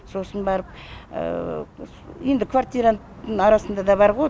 сосын барып енді квартиранттың арасында да бар ғой